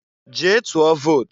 Jee tụọ vot!